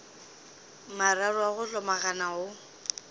mararo a go hlomagana o